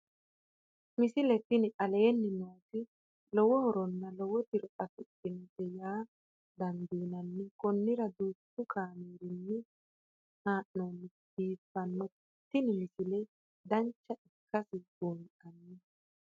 misile tini aleenni nooti lowo horonna lowo tiro afidhinote yaa dandiinanni konnira danchu kaameerinni haa'noonnite biiffannote tini misile dancha ikkase buunxanni